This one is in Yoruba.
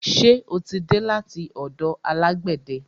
Ṣe o tí dé láti ọ̀dọ̀ alágbẹ̀de?